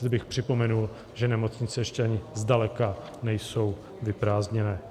Zde bych připomenul, že nemocnice ještě ani zdaleka nejsou vyprázdněné.